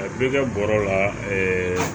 A bɛ kɛ bɔrɛ la